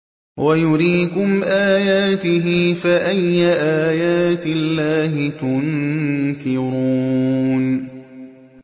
وَيُرِيكُمْ آيَاتِهِ فَأَيَّ آيَاتِ اللَّهِ تُنكِرُونَ